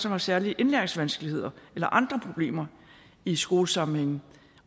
har særlige indlæringsvanskeligheder eller andre problemer i skolesammenhænge